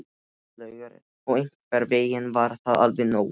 Áslaugar og einhvern veginn var það alveg nóg.